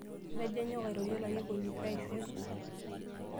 Atejo anyok airorie olarikoni pee aisho orusa.